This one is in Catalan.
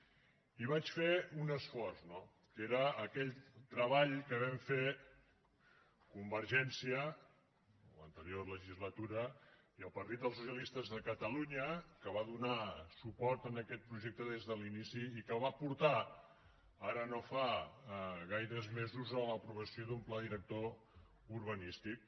i vaig fer un esforç no que era aquell treball que vam fer convergència l’anterior legislatura i el partit dels socialistes de catalunya que va donar suport a aquest projecte des de l’inici i que va portar ara no fa gaires mesos a l’aprovació d’un pla director urbanístic